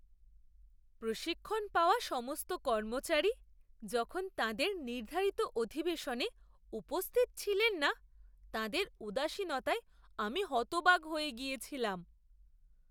প্রশিক্ষণ পাওয়া সমস্ত কর্মচারী যখন তাঁদের নির্ধারিত অধিবেশনে উপস্থিত ছিলেন না, তাঁদের উদাসীনতায় আমি হতবাক হয়ে গিয়েছিলাম।